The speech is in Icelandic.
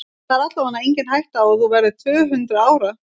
Það er allavega engin hætta á að þú verðir tvö-hundruð ára.